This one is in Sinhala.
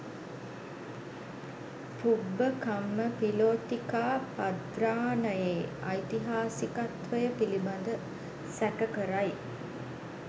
පුබ්බ කම්ම පිලෝතිකාපද්‍රානයේ ඓතිහාසිකත්වය පිළිබඳ සැක කරයි.